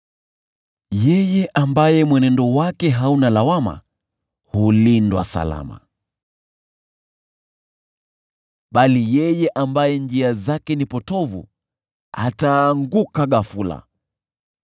Yeye ambaye mwenendo wake hauna lawama hulindwa salama, bali yeye ambaye njia zake ni potovu ataanguka ghafula.